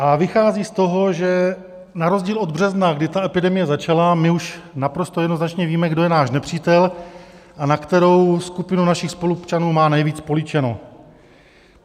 A vychází z toho, že na rozdíl od března, kdy ta epidemie začala, my už naprosto jednoznačně víme, kdo je náš nepřítel a na kterou skupinu našich spoluobčanů má nejvíc políčeno.